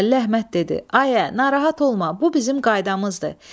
Bəlli Əhməd dedi: Ayə, narahat olma, bu bizim qaydamızdır.